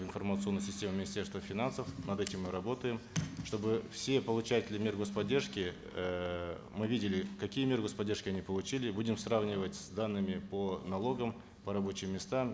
в информационную систему министерства финансов над этим мы работаем чтобы все получатели мер гос поддержки эээ мы видели какие меры гос поддержки они получили будем сравнивать с данными по налогам по рабочим местам